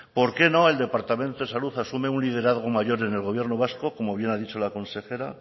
por qué no el departamento de salud asume un liderazgo mayor en el gobierno vasco como bien ha dicho la consejera